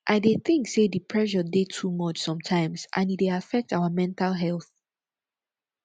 i dey think say di pressure dey too much sometimes and e dey affect our mental health